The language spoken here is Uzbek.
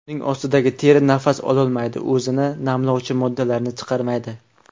Uning ostidagi teri nafas ololmaydi, o‘zini namlovchi moddalarni chiqarmaydi.